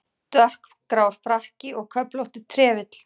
Dökkgrár frakki og köflóttur trefill.